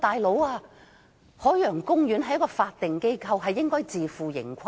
"老兄"，海洋公園是法定機構，應該自負盈虧。